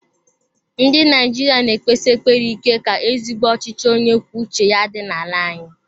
Ndị Naijiria na ekpesi ekpere ike ka ezigbo ọchịchị onye kwuo uche ya dị n'ala anyị.